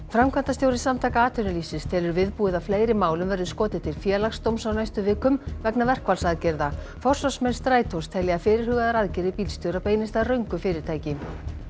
framkvæmdastjóri Samtaka atvinnulífsins telur viðbúið að fleiri málum verði skotið til Félagsdóms á næstu vikum vegna verkfallsaðgerða forsvarsmenn Strætós telja að fyrirhugaðar aðgerðir bílstjóra beinist að röngu fyrirtæki